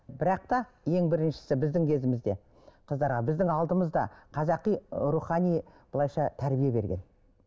бірақ та ең біріншісі біздің кезімізде қыздарға біздің алдымызда қазақи рухани былайынша тәрбие берген